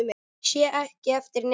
Sé ekki eftir neinu.